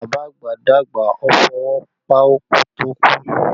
Bàbá àgbà dàgbà, ó fọwọ́ páú kí ó tó kú